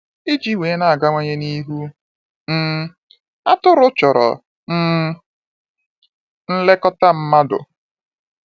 Iji wee na-agawanye n'ihu, um atụrụ chọrọ um nlekọta mmadụ.